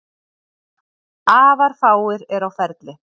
Afar fáir eru á ferli